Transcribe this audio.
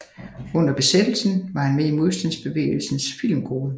Under besættelsen var han med i Modstandsbevægelsens Filmgruppe